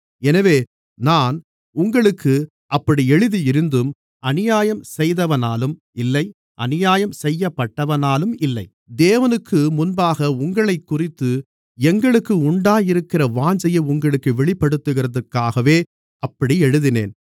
எனவே நான் உங்களுக்கு அப்படி எழுதியிருந்தும் அநியாயம் செய்தவனாலும் இல்லை அநியாயம் செய்யப்பட்டவனாலும் இல்லை தேவனுக்குமுன்பாக உங்களைக்குறித்து எங்களுக்கு உண்டாயிருக்கிற வாஞ்சையை உங்களுக்குத் தெரியப்படுத்துவதற்காகவே அப்படி எழுதினேன்